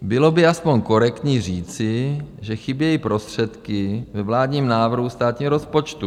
Bylo by aspoň korektní říci, že chybějí prostředky ve vládním návrhu státní rozpočtu.